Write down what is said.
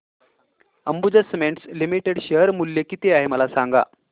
Ambuja cements limited share मूल्य किती आहे मला सांगा